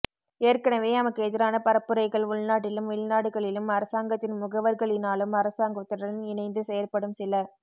ஏற்கனவே எமக்கு எதிரான பரப்புரைகள் உள்நாட்டிலும் வெளிநாடுகளிலும் அரசாங்கத்தின் முகவர்களினாலும் அரசாங்கத்துடன் இணைந்து செயற்படும் சில